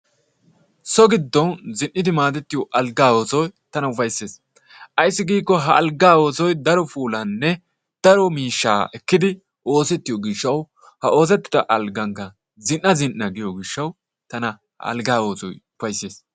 So giidon Zin"iidi maaddettiyoo algaa oosoy tana upayssees. Ayssi giikko ha algaa oosoy daro puulaaninne daro miishshaa ekkidi oosettiyoo giishshawu ha oosettida algaankka zin"a zin"a giyoo giishshawu tana alggaa oosoy upayssees.